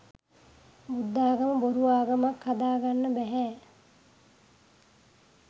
බුද්ධාගම බොරු ආගමක් හදාගන්න බැහැ